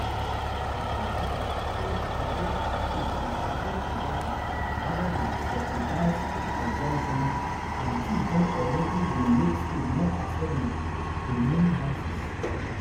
di president say e get approach to support production rather dan subsidize consumption and dis don alreadi dey make food more affordable to many houses